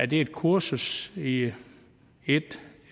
det er et kursus i et